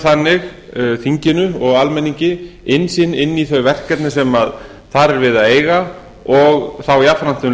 þannig þinginu og almenningi innsýn inn í þau verkefni sem þar er verið við að eiga og þá jafnframt um